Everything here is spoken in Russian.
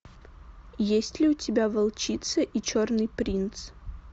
есть ли у тебя волчица и черный принц